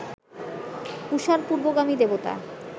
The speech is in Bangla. ঊষার পূর্ব্বগামী দেবতা